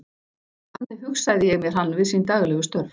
Þannig hugsaði ég mér hann við sín daglegu störf.